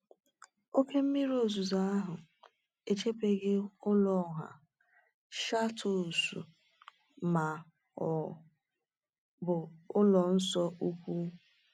Oke mmiri ozuzo ahụ echebeghị ụlọ ọha, châteaus, ma ọ bụ ụlọ nsọ ukwu.